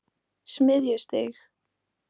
Smiðjustíg